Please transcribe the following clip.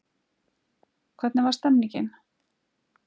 hvernig var stemningin?